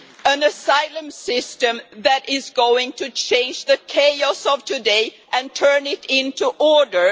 an asylum system that is going to change the chaos of today and turn it into order.